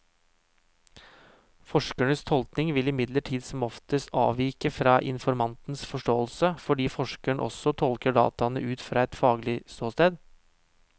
Forskerens tolkning vil imidlertid som oftest avvike fra informantens forståelse, fordi forskeren også tolker dataene ut fra et faglig ståsted.